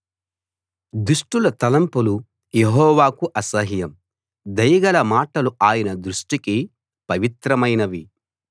దుష్టుల తలంపులు యెహోవాకు అసహ్యం దయగల మాటలు ఆయన దృష్టికి పవిత్రమైనవి